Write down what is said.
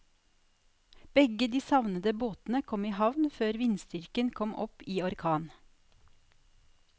Begge de savnede båtene kom i havn før vindstyrken kom opp i orkan.